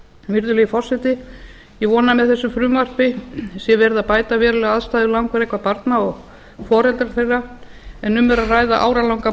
virðulegi forseti ég vona að með þessu frumvarpi sé verið að bæta verulega aðstæður langveikra barna og foreldra þeirra en um er að ræða áralanga